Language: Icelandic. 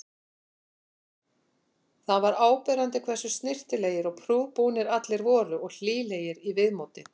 Það var áberandi hversu snyrtilegir og prúðbúnir allir voru og hlýlegir í viðmóti.